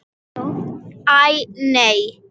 Æi, nei.